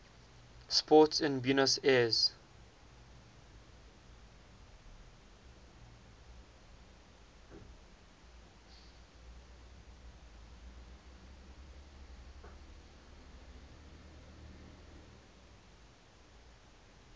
sport in buenos aires